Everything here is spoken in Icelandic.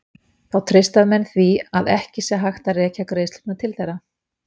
Þá treysta menn því að ekki sé hægt að rekja greiðslurnar til þeirra.